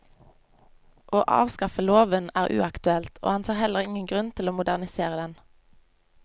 Å avskaffe loven er uaktuelt, og han ser heller ingen grunn til å modernisere den.